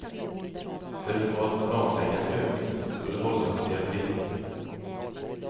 De höll på att planlägga en övning som skulle hållas i april.